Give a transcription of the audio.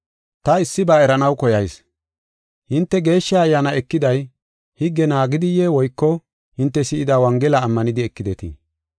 Ta issiba eranaw koyayis; hinte Geeshsha Ayyaana ekiday higge naagidiye woyko hinte si7ida Wongela ammanidi ekidetii?